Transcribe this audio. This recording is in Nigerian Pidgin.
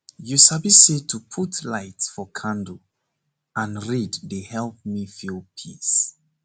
u sabi sayto put light for candle and read dey help me feel peace